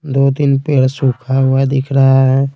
दो-तीन पेड़ सूखा हुआ दिख रहा है।